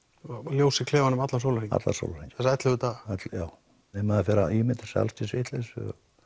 ljós allan sólarhringinn allan sólarhringinn þessa ellefu daga já nei maður fer að ímynda sér allskyns vitleysu